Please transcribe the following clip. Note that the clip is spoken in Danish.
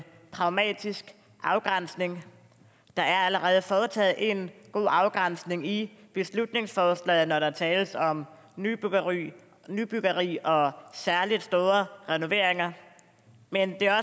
pragmatisk afgrænsning der er allerede foretaget en god afgrænsning i beslutningsforslaget når der tales om nybyggeri nybyggeri og særlig store renoveringer men det er